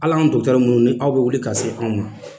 Hal'an dɔgɔtɔrɔ minnu ni aw bɛ wili ka se anw ma